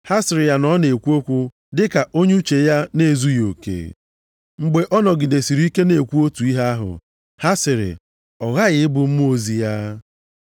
Ha sịrị ya na ọ na-ekwu okwu dịka onye uche ya na-ezughị oke. Mgbe ọ nọgidesịrị ike na-ekwu otu ihe ahụ, ha sịrị, “Ọ ghaghị ị bụ mmụọ ozi ya.”